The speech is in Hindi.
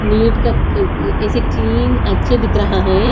नीट का क्क ऐसे क्लीन अच्छे दिख रहा है।